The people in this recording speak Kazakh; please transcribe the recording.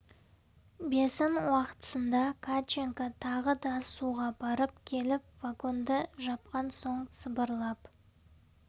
бесін уақтысында катченко тағы да суға барып келіп вагонды жапқан соң сыбырлап